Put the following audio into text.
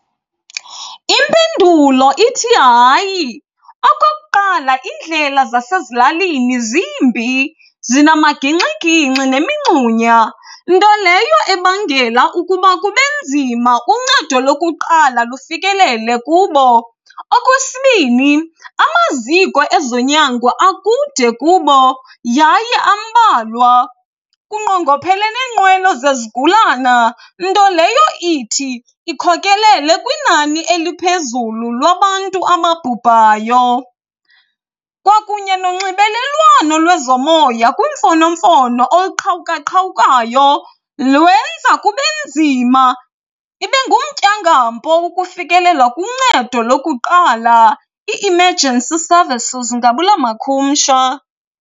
Impendulo ithi, hayi. Okokuqala. iindlela zasezilalini zimbi zinamagingxigingxi nemingxunya, nto leyo ebangela ukuba kube nzima uncedo lokuqala lufikelele kubo. Okwesibini, amaziko ezonyango akude kubo yaye ambalwa. Kunqongophele neenqwelo zezigulana, nto leyo ithi ikhokelele kwinani eliphezulu lwabantu amabhubhayo. Kwakunye nonxibelelwano lwezomoya kwiimfonomfono oluqhawukaqawukayo lwenza kube nzima, ibe ngumtyangampo ukufikelela kuncedo lokuqala, i-emergency services ngabula makhumsha.